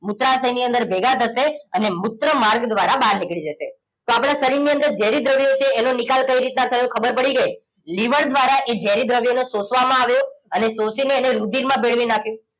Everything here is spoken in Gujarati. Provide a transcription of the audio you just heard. મૂત્રાશયની અંદર ભેગા થશે અને મૂત્રમાર્ગ દ્વારા બહાર નીકળી જશે તો આપણા શરીરની અંદર ઝેરી દ્રવ્યો છે એનો નિકાલ કઈ રીતના થયો ખબર પડી ગઈ લીવર દ્વારા એ ઝેરી દ્રવ્યો નો સોસવામાં આવ્યો અને શોષીને એને રુધિરમાં ભેળવી નાખ્યું